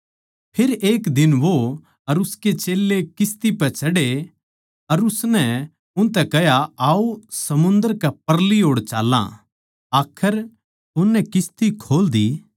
फेर एक दिन वो अर उसके चेल्लें किस्ती पै चढ़े अर उसनै उनतै कह्या आओ समुन्दर के परली ओड़ चाल्लां आखर उननै किस्ती खोल दी